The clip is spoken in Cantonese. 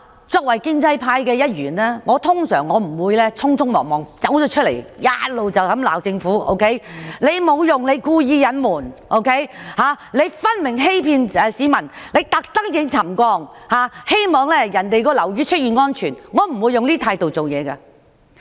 作為建制派一員，我不會忙不迭地公開指責政府沒用、故意隱瞞、分明欺騙市民，惡意希望樓宇沉降後會出現安全問題，我不會抱持這種態度做事。